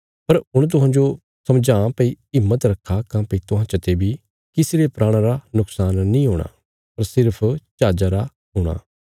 पर हुण तुहांजो समझावां भई हिम्मत रखा काँह्भई तुहां चते बी किसी रे प्राणा रा नुक्शान नीं हूणा पर सिर्फ जहाजा रा हूणा